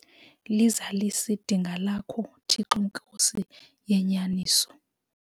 Lizalise idinga lakho Thixo Nkosi yenyaniso.